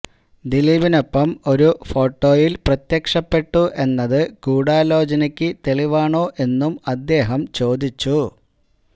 ദിലീപിനൊപ്പം ഒരു ഫോട്ടോയില് പ്രത്യക്ഷപ്പെട്ടു എന്നത് ഗൂഢാലോചനക്ക് തെളിവാണോ എന്നും അദ്ദേഹം ചോദിച്ചു